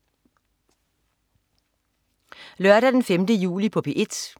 Lørdag den 5. juli - P1: